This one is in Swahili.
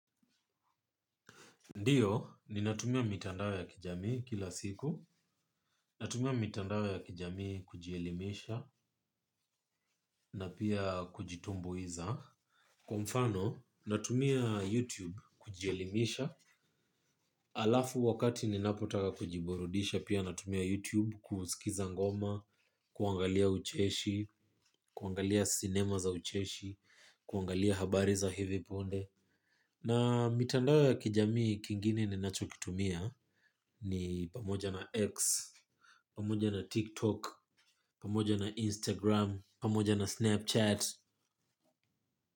Ndiyo, ninatumia mitandao ya kijami kila siku, natumia mitandao ya kijamii kujielimisha na pia kujitumbuiza. Kwa mfano, natumia YouTube kujielimisha, alafu wakati ninapotaka kujiburudisha pia natumia YouTube kusikiza ngoma, kuangalia ucheshi, kuangalia cinema za ucheshi, kuangalia habari za hivi punde. Na mitandao ya kijami kingine ninacho kitumia ni pamoja na X, pamoja na TikTok, pamoja na Instagram, pamoja na Snapchat.